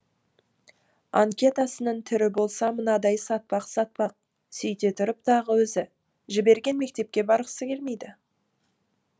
анкетасының түрі болса мынадай сатпақ сатпақ сөйте тұрып тағы өзі жіберген мектепке барғысы келмейді